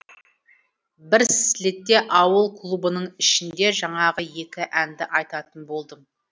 бір слетта ауыл клубының ішінде жаңағы екі әнді айтатын болдым